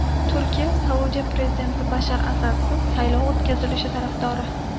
Turkiya Suriyada prezident Bashar Asadsiz saylov o‘tkazilishi tarafdori.